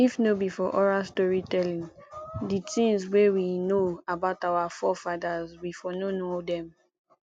if no be for oral story telling di things wey we know about our forefathers we for no know dem